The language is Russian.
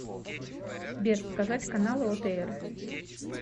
сбер показать каналы отр